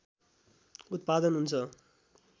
उत्‍पादन हुन्छ